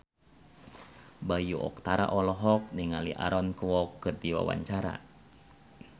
Bayu Octara olohok ningali Aaron Kwok keur diwawancara